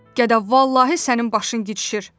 Gəda, vallahi sənin başın gidişir.